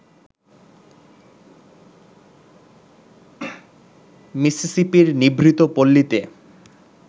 মিসিসিপির নিভৃত পল্লীতে